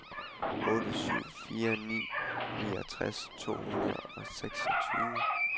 otte syv fire ni niogtres to hundrede og seksogtyve